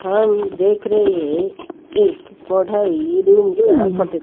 हम देख रहे हैं एक पढ़ाई रूम का फोटो--